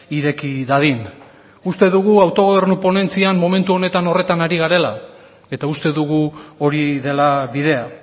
ireki dadin uste dugu autogobernu ponentzian momentu honetan horretan ari garela eta uste dugu hori dela bidea